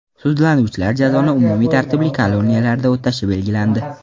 Sudlanuvchilar jazoni umumiy tartibli koloniyalarda o‘tashi belgilandi.